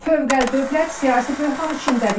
Fövqəldövlət siyasi böhran içindədir.